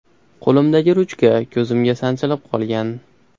Qo‘limdagi ruchka ko‘zimga sanchilib qolgan.